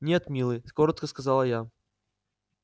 нет милый коротко сказала я